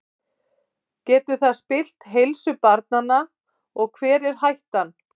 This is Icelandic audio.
Getur það spillt heilsu barnanna og hver er hættan?